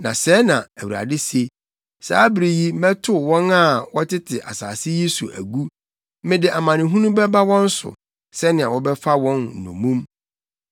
Na sɛɛ na Awurade se: “Saa bere yi mɛtow wɔn a wɔtete asase yi so agu; mede amanehunu bɛba wɔn so sɛnea wɔbɛfa wɔn nnommum.”